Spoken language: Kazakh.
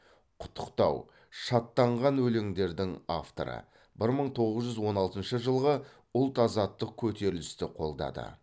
құттықтау шаттанған өлеңдердің авторы бір мың тоғыз жүз он алтыншы жылғы ұлт азаттық көтерілісті қолдады